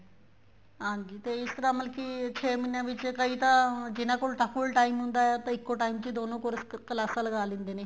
ਹਾਂਜੀ ਤੇ ਇਸ ਤਰ੍ਹਾਂ ਮਤਲਬ ਕੀ ਛੇ ਮਹੀਨਿਆਂ ਚ ਕਈ ਤਾਂ ਜਿਹਨਾ ਕੋਲ ਤਾਂ full time ਹੁੰਦਾ ਏ ਉਹ ਤਾਂ ਇੱਕੋ time ਦੋਨੇ course ਕਲਾਸਾਂ ਲਗਾ ਲਿੰਦੇ ਨੇ